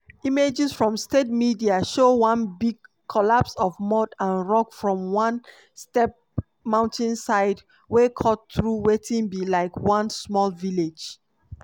images from state media show one big collapse of mud and rock from one steep mountainside wey cut through wetin be like one small village.